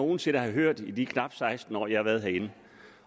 nogen sinde har hørt i de knap seksten år jeg har været herinde